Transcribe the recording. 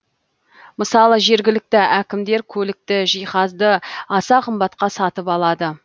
мысалы жергілікті әкімдер көлікті жиһазды аса қымбатқа сатып алады